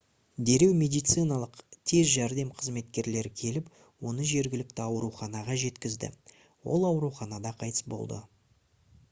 дереу медициналық тез жәрдем қызметкерлері келіп оны жергілікті ауруханаға жеткізді ол ауруханада қайтыс болды